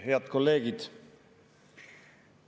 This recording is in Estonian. Head kolleegid!